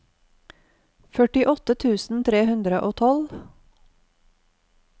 førtiåtte tusen tre hundre og tolv